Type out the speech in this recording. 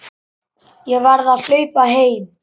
Ég verð að hlaupa heim.